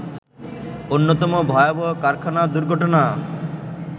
অন্যতম ভয়াবহ কারখানা দুর্ঘটনা